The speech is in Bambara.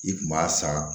I kun b'a san